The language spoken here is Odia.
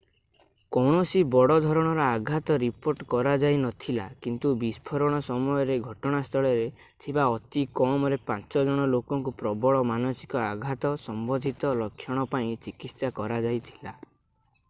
କୌଣସି ବଡ଼ ଧରଣର ଆଘାତ ରିପୋର୍ଟ କରାଯାଇନଥିଲା କିନ୍ତୁ ବିସ୍ଫୋରଣ ସମୟରେ ଘଟଣାସ୍ଥଳରେ ଥିବା ଅତି କମରେ ପାଞ୍ଚ ଜଣ ଲୋକଙ୍କୁ ପ୍ରବଳ ମାନସିକ ଆଘାତ ସମ୍ବନ୍ଧିତ ଲକ୍ଷଣ ପାଇଁ ଚିକିତ୍ସା କରାଯାଇଥିଲା